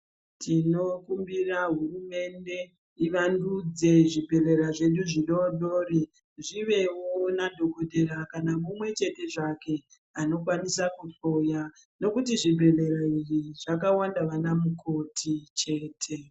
Tinokumbira hurumende ivandudze zvibhedhlera zvedu zvidori dori zvivevo nadhokodheya kana mumwechete zvake anokwanisa kuhloya nekuti zvibhedhlera izvi zvakawanda vanamukoti chete.